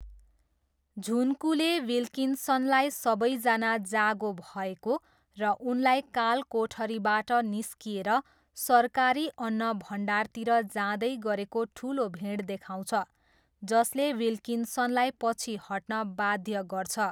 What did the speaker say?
झुन्कूले विल्किन्सनलाई सबैजना जागो भएको र उनलाई कालकोठरीबाट निस्किएर सरकारी अन्नभण्डारतिर जाँदै गरेको ठुलो भिड देखाउँछ जसले विल्किन्सनलाई पछि हट्न बाध्य गर्छ।